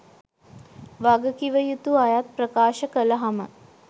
වගකිවයුතු අයත් ප්‍රකාශ කලහම